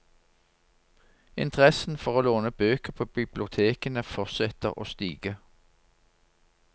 Interessen for å låne bøker på bibliotekene fortsetter å stige.